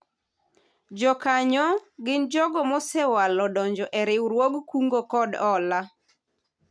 Jokanyo gin jogo mosewalo donjo e riwruog kungo kod hola